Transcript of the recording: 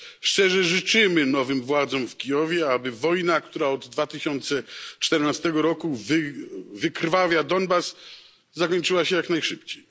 Szczerze życzymy nowym władzom w Kijowie, aby wojna, która od 2014 roku wykrwawia Donbas, zakończyła się jak najszybciej.